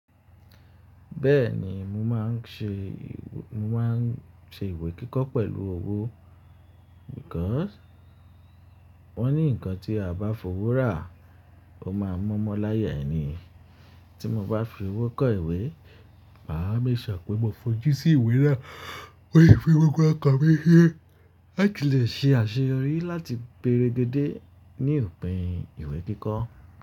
Bẹ́ẹ̀ni mo máà ń ṣe--mo máà ń ṣe ìwé kíkọ́ pẹ̀lú owó, nítorí wọ́n ní nǹkan tí a bá fowó rà, ó máa mumu láyà ẹni. Tí mo bá fi owó kọ ìwé, mà á make sure pé mo fojú sí ìwé náà, mó lè fi gbogbo ọkàn mi se. La ti lè ṣe àṣeyọrí, la ti gberegede ní ìpín ìwé kíkọ.